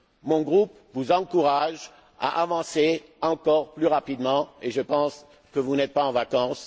terme. Mon groupe vous encourage à avancer encore plus rapidement et je pense que vous n'êtes pas en vacances.